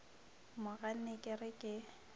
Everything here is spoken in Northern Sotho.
mo ganne ke re ke